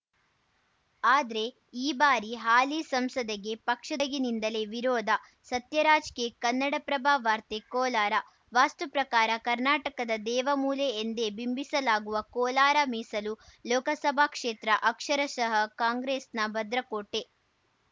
ಆದ್ರೆ ಈ ಬಾರಿ ಹಾಲಿ ಸಂಸದಗೆ ಪಕ್ಷದೊಳಗಿನಿಂದಲೇ ವಿರೋಧ ಸತ್ಯರಾಜ್‌ ಕೆ ಕನ್ನಡಪ್ರಭ ವಾರ್ತೆ ಕೋಲಾರ ವಾಸ್ತು ಪ್ರಕಾರ ಕರ್ನಾಟಕದ ದೇವ ಮೂಲೆ ಎಂದೇ ಬಿಂಬಿಸಲಾಗುವ ಕೋಲಾರ ಮೀಸಲು ಲೋಕಸಭಾ ಕ್ಷೇತ್ರ ಅಕ್ಷರಶಃ ಕಾಂಗ್ರೆಸ್‌ನ ಭದ್ರಕೋಟೆ